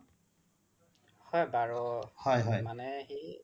হয় বাৰ মানে সি